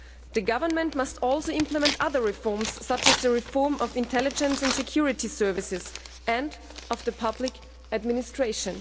The government must also implement other reforms, such as the reform of the intelligence and security services, and of the public administration.